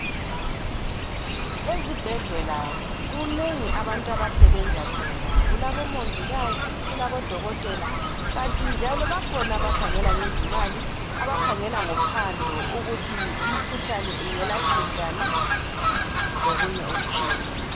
Ezibhedlela kunengi abantu abasebenza khona kulabo mongikazi kulabo dokotela kanti njalo bakhona abakhangela ngezimali abakhangela ngophando ukuthi imikhuhlane ingelatshwa njani lokunye okutshiyeneyo.